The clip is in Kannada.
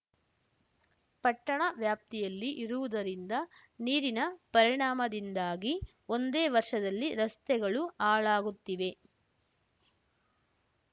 ಪಟ್ಟಣ ವ್ಯಾಪ್ತಿಯಲ್ಲಿ ಇರುವುದರಿಂದ ನೀರಿನ ಪರಿಣಾಮದಿಂದಾಗಿ ಒಂದೇ ವರ್ಷದಲ್ಲಿ ರಸ್ತೆಗಳು ಹಾಳಾಗುತ್ತಿವೆ